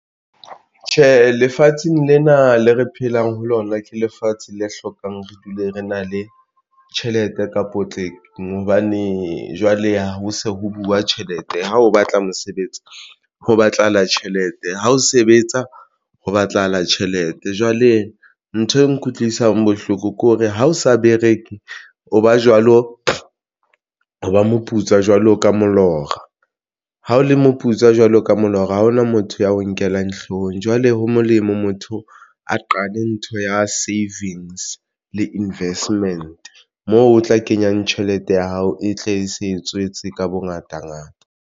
Tjhe, lefatsheng lena le re phelang ho lona ke lefatshe le hlokang re dule re na le tjhelete ka potleng hobane jwale ho se ho buwa tjhelete. Ha o batla mosebetsi ho batlahala tjhelete ha o sebetsa ho batlahala tjhelete, jwale nthwe nkutlwisang bohloko ke hore ha o sa bereke, o ba jwalo o ba moputswa jwalo ka molora, ha o le moputswa jwalo ka molora hore ha hona motho ya ho nkellang hloohong, jwale ho molemo motho a qale ntho ya savings le investment moo o tla kenyang tjhelete ya hao e tle e se e tswetse ka bongata ngata.